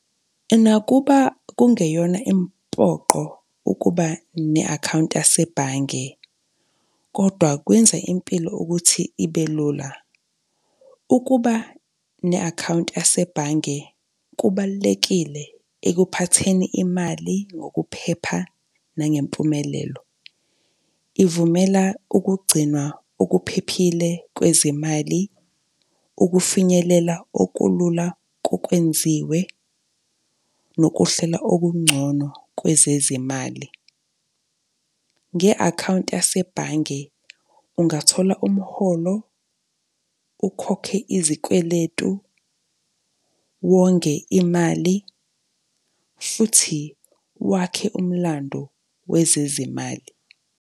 Nakuba kungeyona impoqo ukuba ne-akhawunti yasebhange kodwa kwenza impilo ukuthi ibe lula. Ukuba ne-akhawunti yasebhange kubalulekile ekuphatheni imali ngokuphepha nangempumelelo. Ivumela ukugcinwa okuphephile kwezimali, ukufinyelela okulula kokwenziwe nokuhlelwa okungcono kwezezimali. Nge-akhawunti yasebhange ungathola umholo, ukhokhe izikweletu, wonge imali futhi wakhe umlando wezezimali.